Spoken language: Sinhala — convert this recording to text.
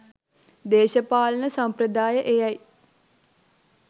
දේශපාලන සම්ප්‍රදාය එයයි.